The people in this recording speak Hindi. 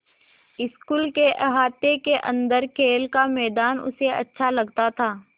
स्कूल के अहाते के अन्दर खेल का मैदान उसे अच्छा लगता था